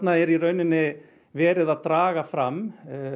er verið að draga fram